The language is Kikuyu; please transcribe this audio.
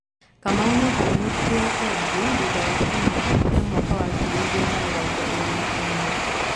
Kamau nĩatanyĩtwo kwendio thutha wa Kĩmera kĩa mwaka wa ngiri ĩgirĩ na mĩrongo ĩrĩ na imwe.